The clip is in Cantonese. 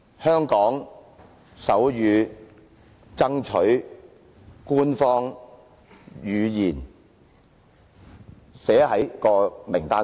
香港手語爭取官方語言，以加入名單上。